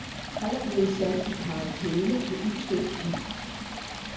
Han er blevet sat i karantæne på ubestemt tid.